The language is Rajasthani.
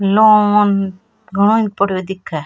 नाम घणो ही ऊपर दिखे।